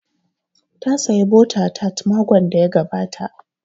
Ta saya bota tat makon da ya gabata